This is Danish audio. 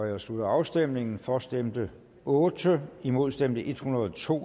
jeg slutter afstemningen for stemte otte imod stemte en hundrede og to